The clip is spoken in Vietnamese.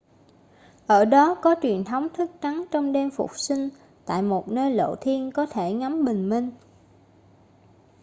ở đó có truyền thống thức trắng trong đêm phục sinh tại một nơi lộ thiên có thể ngắm bình minh